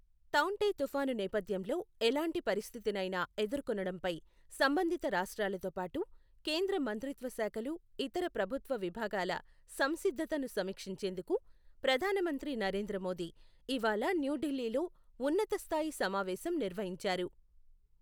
తౌఁటే తుఫాను నేపథ్యంలో ఎలాంటి పరిస్థితినైనా ఎదుర్కొనడంపై సంబంధిత రాష్ట్రాలతోపాటు కేంద్ర మంత్రిత్వ శాఖలు ఇతర ప్రభుత్వ విభాగాల సంసిద్ధతను సమీక్షించేందుకు ప్రధానమంత్రి నరేంద్ర మోదీ ఇవాళ న్యూఢిల్లీలో ఉన్నతస్థాయి సమావేశం నిర్వహించారు.